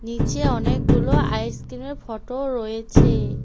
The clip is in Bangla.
নীচে অনেকগুলো আইসক্রিমের ফটো ও রয়েছে।